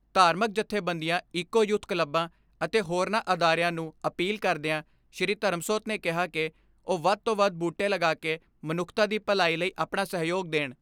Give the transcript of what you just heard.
ਧਾਰਮਕ ਜੱਥੇਬੰਦੀਆਂ eco youth ਕਲੱਬਾਂ ਅਤੇ ਹੋਰਨਾਂ ਅਦਾਰਿਆਂ ਨੂੰ ਅਪੀਲ ਕਰਦਿਆਂ ਸ਼੍ਰੀ ਧਰਮਸੋਤ ਨੇ ਕਿਹਾ ਕਿ ਉਹ ਵੱਧ ਤੋਂ ਵੱਧ ਬੂਟੇ ਲਗਾ ਕੇ ਮਨੁੱਖਤਾ ਦੀ ਭਲਾਈ ਲਈ ਆਪਣਾ ਸਹਿਯੋਗ ਦੇਣ।